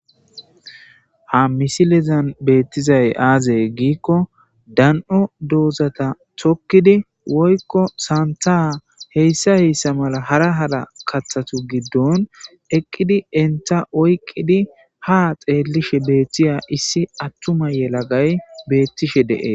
ha misilezan beettizay aazay giikko dan7o doozata thokkidi woykko saanthaa heyssa heyssa mala hara hala kathatu giddon eqqidi enta oyqqidi ha xeellishe beettiya issi attuma yelagay beettishe dee